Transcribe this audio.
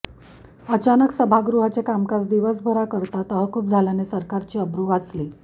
अचानक सभागृहाचे कामकाज दिवसभराकरता तहकूब झाल्याने सरकारची अब्रू वाचली